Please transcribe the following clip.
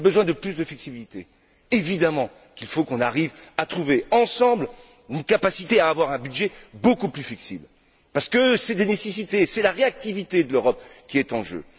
Il y a besoin de plus de flexibilité. Évidemment, il faut qu'on arrive à trouver ensemble une capacité à avoir un budget beaucoup plus flexible parce que c'est une nécessité, c'est la réactivité de l'Europe qui est en jeu.